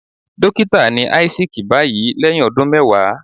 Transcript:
Dókítà ni Isaac báyìí lẹ́hìn ọdún mẹwàá.